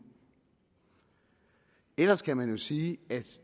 ellers kan man jo sige at